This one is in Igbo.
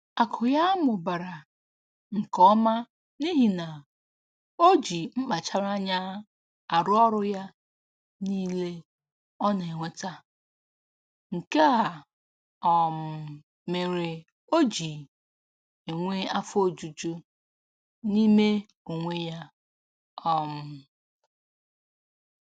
Akụ ya mụbara nke ọma n'ihi na o ji mkpachara anya arụ ọrụ ya niile ọ na-enweta, nke a um mere o ji enwe afo ojuju n'ime onwe ya um